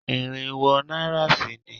Irinwó náírà sì ni